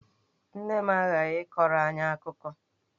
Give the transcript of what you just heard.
Nne m aghaghị ịkọrọ anyị akụkọ!